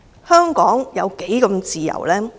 香港有多麼自由？